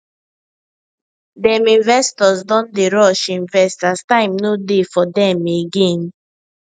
dem investors don dey rush invest as time no dey for them again